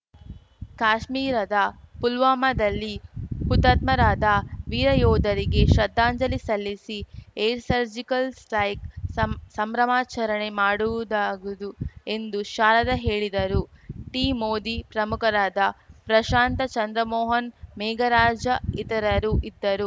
ಕಾಶ್ಮೀರದ ಪುಲ್ವಾಮಾದಲ್ಲಿ ಹುತಾತ್ಮರಾದ ವೀರ ಯೋಧರಿಗೆ ಶ್ರದ್ಧಾಂಜಲಿ ಸಲ್ಲಿಸಿ ಏರ್‌ ಸರ್ಜಿಕಲ್‌ ಸ್ಟ್ರೈಕ್ ಸಂ ಸಂಭ್ರಮಾಚರಣೆ ಮಾಡುವುದಾಗದು ಎಂದು ಶಾರದಾ ಹೇಳಿದರು ಟೀಂ ಮೋದಿ ಪ್ರಮುಖರಾದ ಪ್ರಶಾಂತ ಚಂದ್ರಮೋಹನ್ ಮೇಘರಾಜ ಇತರರು ಇದ್ದರು